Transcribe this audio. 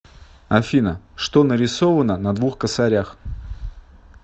афина что нарисовано на двух косарях